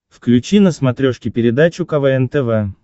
включи на смотрешке передачу квн тв